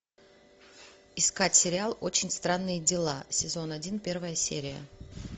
искать сериал очень странные дела сезон один первая серия